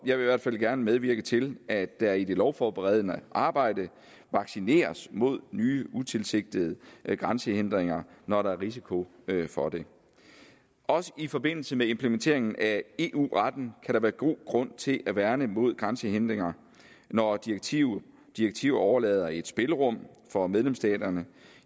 i hvert fald gerne medvirke til at der i det lovforberedende arbejde vaccineres mod nye utilsigtede grænsehindringer når der er risiko for det også i forbindelse med implementeringen af eu retten kan der være god grund til at værne mod grænsehindringer når direktiver direktiver overlader et spillerum for medlemsstaterne